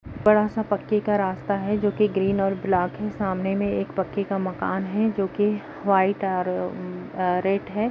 बड़ा सा पक्के का रास्ता है जोकि ग्रीन और ब्लाक है सामने में एक पक्के का मकान है जोकि व्हाइट और उम-अ रेड है।